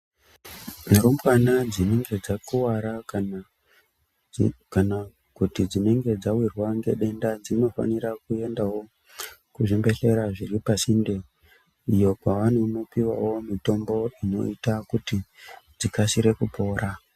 Rumbwana dzinenge dzakuvara kana kuti dzinenge dzavirwa nedenda dzinofanira kuendavo kuzvibhedhlera zviripasinde. Iyo kwavanono pivavo mitombo inoita kuti dzikasire kupora.